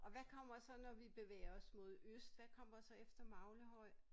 Og hvad kommer så når vi bevæger os mod øst hvad kommer så efter Maglehøj?